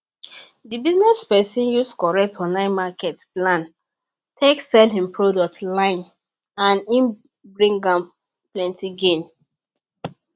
dey business person use correct online market plan take sell him product line and e bring am plenty gain